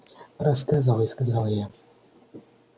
рассказывай сказал я